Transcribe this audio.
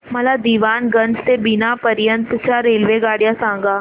मला दीवाणगंज ते बिना पर्यंत च्या रेल्वेगाड्या सांगा